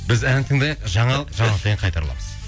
біз ән тыңдайық жаңалық жаңалықтан кейін қайта ораламыз